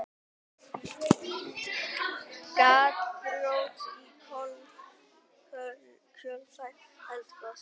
Gjaldþrot í kjölfar eldgoss